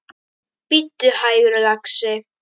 Bíddu hægur, lagsi.